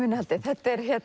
innihaldið þetta er